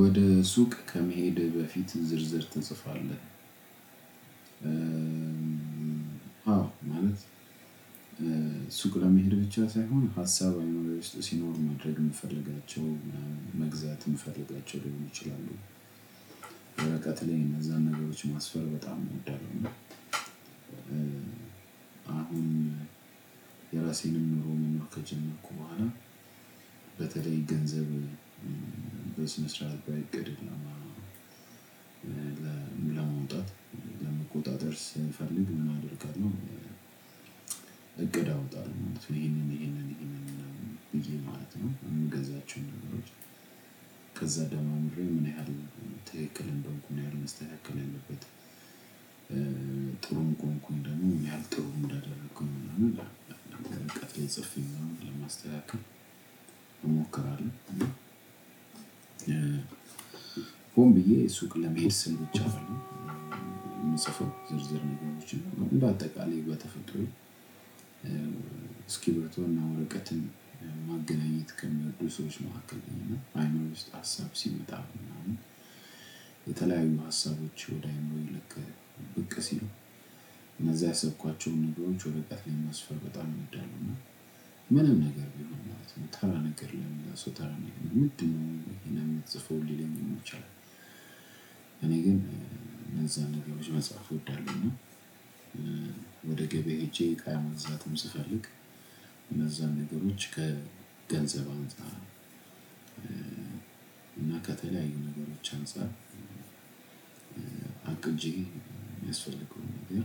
ወደ ሱቅ ከመሄድ በፊት ዝርዝር ትጽፋለህ? አዎ ማለት ሱቅ ለመሄድ ብቻ ሳይሆን ሀሳብ አይምሮዬ ውስጥ ሲኖርም ማድረግ የምፈልጋቸው መግዛት የምፈልጋቸው ሊሆን ይችላሉ ላይ እነዛን ነገሮች ማስፈር በጣም እወዳለሁ። አሁን የራሴንም ኑሮ መኖር ከጀመርኩ በኋላ በተለይ ገንዘብ በስነ ስርዓት በእቅድ ላይ ለመውጣት ለመቆጣጠር ስለምፈልግ ምን አደርጋለሁ? እቅድ አወጣለሁ ይሄንን ይሄንን ይሄንን ማለት ነው። የምገዛቸውን ነገሮች ከዛ ደሞ ምን ያህል ትክክል እንደሆንኩኝ ምን ያህል መስተካከል ያለበት ጥሩም ቆምኩኝ ደግሞ ምን ያህል ጥሩ እንዳደረኩኝ ደግሞ እንደደረኩኝ የሚለውን በወረቀት ላይ ጽፌ ለማስተካከል እሞክራለሁ። ሆን ብዬ ሱቅ ለመሄድ ስል ብቻ አይደለም። የምጽፈው ዝርዝር ነገሮችን እንደ አጠቃላይ በተፈጥሮ እስኪርብቶ እና ወርቀትን ማገናኘት ከሚወዱ ሰዎች መካከል አይነቶች አይምሮዬ ውስጥ ሀሳብ ሲመጣ ምናምን የተለያዩ ሀሳቦች ወደ አይምሮዬ ብቅ ሲሉ እነዛ ያሰብኳቸውን ነገሮች ወረቀት ላይ ማስፈር በጣም እንዳሉ እና ምንም ነገር ቢሆን ማለት ነው። ተራ ነገር ለሆነ ሰው ተራ ነገር ምንድነው? የምትጽፈው ሊለኝም ይችላል። እኔ ግን እነዛ መጽሐፍ እወዳለሁ እና ወደ ገበያ ሄጄ እቃ መግዛትም ስፈልግ እነዛን ነገሮች ከገንዘብ አምጣ እና ከተለያዩ ነገሮች አንፃር አቅጂም የሚያስፈልገው ነገር።